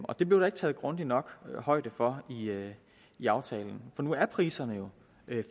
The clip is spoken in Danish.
og det blev der ikke taget grundigt nok højde for i aftalen for nu er priserne jo